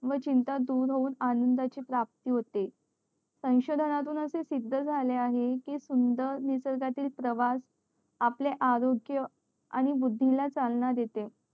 व चिंता दूर होऊन आनंदा ची प्राप्ती होते संशोधना तुन अशे सिध्द झाले आहे कि सुंदर निसर्गातील प्रवास